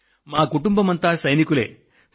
అంటే మా కుటుంబమంతా సైనికులేనన్న మాట